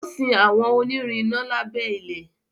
o sin àwọn onirin iná lábé ilẹ.